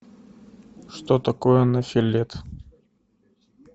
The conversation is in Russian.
что такое нофелет